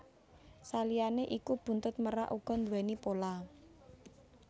Saliyané iku buntut merak uga nduwèni pola